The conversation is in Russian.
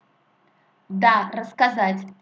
да рассказать